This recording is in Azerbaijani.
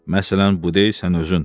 Məsələn, bu deyil sən özün.